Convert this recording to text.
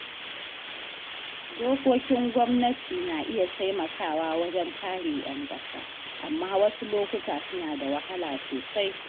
Dokokin gwamnati na iya taimakawa wajen kare ‘yan ƙasa, amma wasu lokuta suna da wahala sosai.